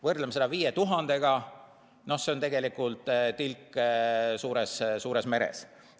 Võrdleme seda 5000-ga – see on tegelikult tilk suures meres.